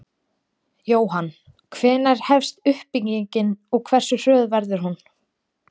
Jóhann: Hvenær hefst uppbyggingin og hversu hröð verður hún?